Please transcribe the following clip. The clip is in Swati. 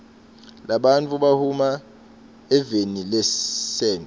labantfu bahuma evenilasechwa